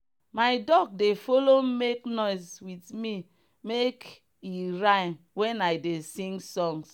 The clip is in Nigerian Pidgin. my duck dey follow make noise with me make e rhyme when i dey sing songs.